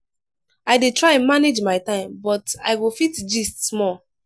i dey try manage my time but i go fit gist small.